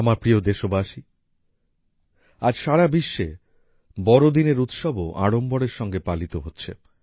আমার প্রিয় দেশবাসী আজ সারা বিশ্বে বড়দিনের উৎসবও আড়ম্বরের সঙ্গে পালিত হচ্ছে